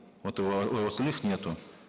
вот эээ у остальных нету